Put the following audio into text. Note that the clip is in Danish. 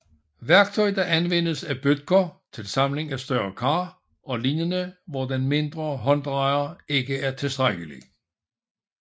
Værktøj der anvendes af bødker til samling af større kar og lignende hvor den mindre hånddrejer ikke er tilstrækkelig